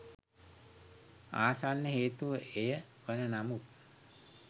ආසන්න හේතුව එය වන නමුත්